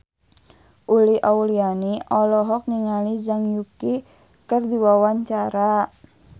Uli Auliani olohok ningali Zhang Yuqi keur diwawancara